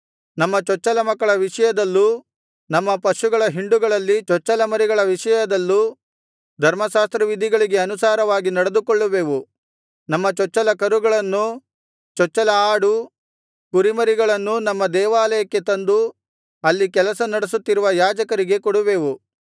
ನಮ್ಮ ಚೊಚ್ಚಲಮಕ್ಕಳ ವಿಷಯದಲ್ಲೂ ನಮ್ಮ ಪಶುಗಳ ಹಿಂಡುಗಳಲ್ಲಿ ಚೊಚ್ಚಲಮರಿಗಳ ವಿಷಯದಲ್ಲೂ ಧರ್ಮಶಾಸ್ತ್ರವಿಧಿಗಳಿಗೆ ಅನುಸಾರವಾಗಿ ನಡೆದುಕೊಳ್ಳುವೆವು ನಮ್ಮ ಚೊಚ್ಚಲ ಕರುಗಳನ್ನೂ ಚೊಚ್ಚಲ ಆಡು ಕುರಿಮರಿಗಳನ್ನೂ ನಮ್ಮ ದೇವಾಲಯಕ್ಕೆ ತಂದು ಅಲ್ಲಿ ಕೆಲಸ ನಡೆಸುತ್ತಿರುವ ಯಾಜಕರಿಗೆ ಕೊಡುವೆವು